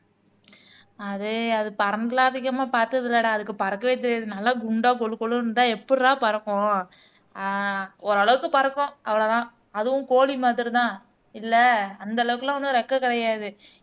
அது அது பறந்ததா அதிகமா பார்த்ததில்லைடா அதுக்கு பறக்கவே தெரியாது நல்லா குண்டா கொழு கொழுன்னு இருந்தா எப்படிடா பறக்கும் ஆஹ் ஓரளவுக்கு பறக்கும் அவ்வளவுதான் அதுவும் கோழி மாதிரிதான் இல்லை அந்த அளவுக்கு எல்லாம் ஒன்றும் ரெக்கை கிடையாது